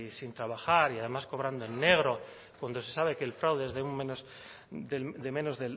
sin trabajar y además cobrando en negro cuando se sabe que el fraude de menos